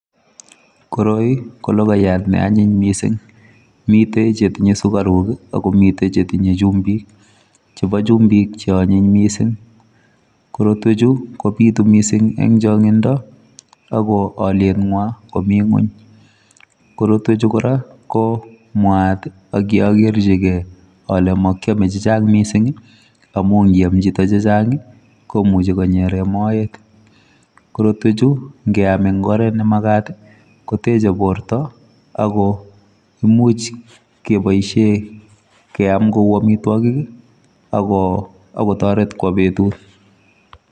Koroi ko lokoyat ne anyiny missing, miten chetinye sukaruk kii ak komiten chetinyee chumbik. Chebo chumbik cheonyiny missing korotwek chuu kopitu missing en chongindo ako iliengwa komii ngwony. Korotwek chuu Koraa ko mwaa tii ak kiokerchigee ole mokiome chechang missingi amun nikam chito chechangi komuche konyeren moet. Korotwek chuu nkeam en oret nemakat koteche borto akomuchi keboishen keam kou omitwokik kii ako akotoret kwo betut.